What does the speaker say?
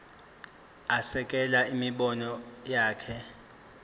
asekele imibono yakhe